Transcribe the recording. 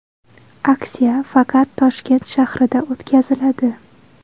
Aksiya faqat Toshkent shahrida o‘tkaziladi.